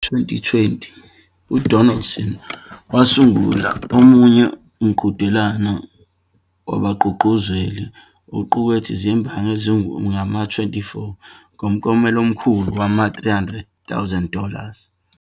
Ngo-Okthoba 2020, uDonaldson wasungula omunye umqhudelwano wabagqugquzeli oqukethe izimbangi ezingama-24 ngomklomelo omkhulu wama-300,000 dollars.